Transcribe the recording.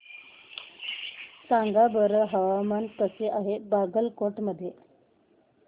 सांगा बरं हवामान कसे आहे बागलकोट मध्ये